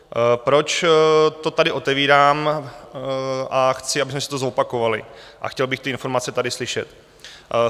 Proč to tady otevírám a chci, abychom si to zopakovali, a chtěl bych ty informace tady slyšet?